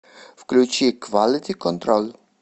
включи квалити контроль